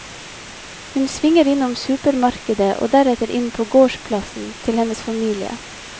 Hun svinger innom supermarkedet og deretter inn på gårdsplassen til hennes familie.